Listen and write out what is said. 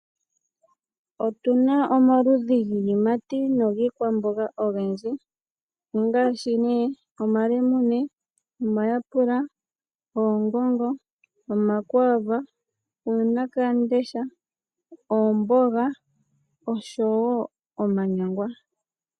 Otuna omaludhi giiyimati nogikwamboga ogendji, ongaashi nee: Omalemune, omayapula, oongongo, omakwaava, uunakamudesha, oomboga oshowo omanyangwa.